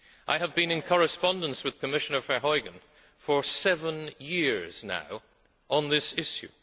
I have been in correspondence with Commissioner Verheugen for seven years now on this issue.